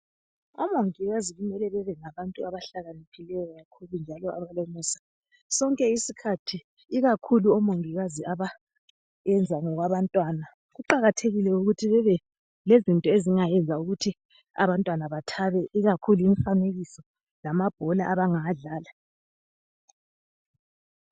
Umongikazi kumele kube ngabantu abahlala behakaniphileyo kakhulu njalo abalomusa sonke isikhathi. Ikakhulu abeyenza ngokwabantwana. Kuqakathekile bebe lezinto ezingayenza ukuthi abantwana bathabe ikakhulu imifanekiso kumbe amabhola abangawadlala